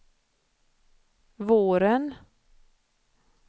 våren